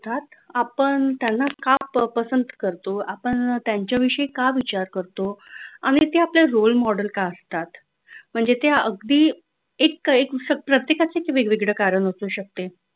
आपण त्यांना का पसंत करतो आपण त्यांच्याविषयी का विचार करतो आणि ते आपले roll model का असतात म्हणजे त्या अगदी इतका एक असं प्रत्येकाचं एक वेगवेगळं कारण असू शकते.